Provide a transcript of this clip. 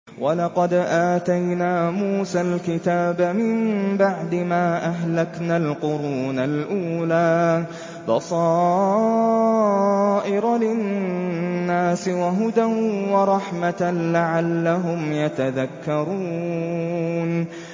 وَلَقَدْ آتَيْنَا مُوسَى الْكِتَابَ مِن بَعْدِ مَا أَهْلَكْنَا الْقُرُونَ الْأُولَىٰ بَصَائِرَ لِلنَّاسِ وَهُدًى وَرَحْمَةً لَّعَلَّهُمْ يَتَذَكَّرُونَ